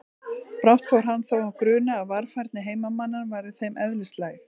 Brátt fór hann þó að gruna að varfærni heimamanna væri þeim eðlislæg.